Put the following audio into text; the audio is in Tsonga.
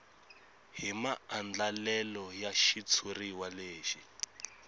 hi maandlalelo ya xitshuriwa lexi